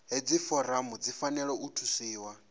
hedzi foramu dzi fanela u thusiwa